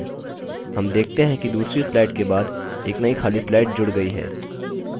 हम देखते हैं कि दूसरी slide के बाद एक नई खाली slide जुड़ गई है